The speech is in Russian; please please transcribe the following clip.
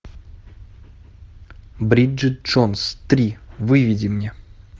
бриджит джонс три выведи мне